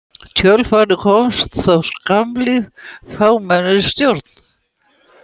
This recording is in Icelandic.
Í kjölfarið komst á skammlíf fámennisstjórn.